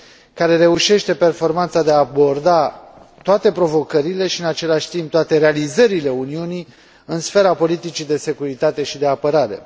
care reușește performanța de a aborda toate provocările și, în același timp, toate realizările Uniunii în sfera politicii de securitate și de apărare.